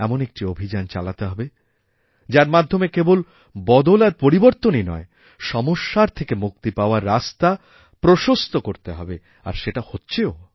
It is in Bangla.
এমন একটি অভিযান চালাতে হবে যার মাধ্যমে কেবলবদল আর পরিবর্তনই নয় সমস্যার থেকে মুক্তি পাওয়ার রাস্তা প্রশস্ত করতে হবে আরসেটা হচ্ছেও